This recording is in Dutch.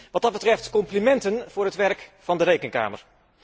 Wat dat betreft complimenten voor het werk van de Rekenkamer.